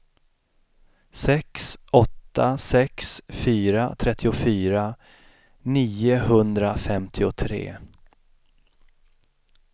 sex åtta sex fyra trettiofyra niohundrafemtiotre